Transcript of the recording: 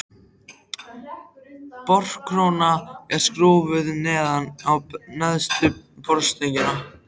Borkróna er skrúfuð neðan á neðstu borstöngina.